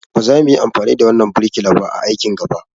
Ba za muyi amfani da wannan birkila ba a aikin gaba.